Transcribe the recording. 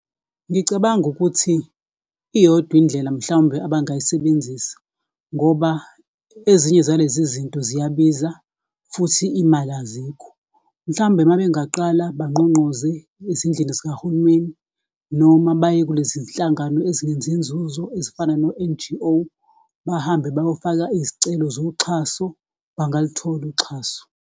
Ngicabanga ukuthi, iyodwa indlela mhlawumbe abangayisebenzisa, ngoba ezinye zalezi zinto ziyabiza futhi imali azikho. Mhlawumbe mabengaqala bangqongqoze ezindlini zikahulumeni, noma baye kulezi zinhlangano ezingenzi nzuzo ezifana no-N_G_O, bahambe bayofaka izicelo zoxhaso, bangaluthola uxhaso.